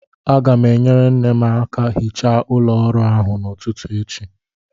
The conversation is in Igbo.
Aga m enyere nne m aka hichaa ụlọ ọrụ ahụ n'ụtụtụ echi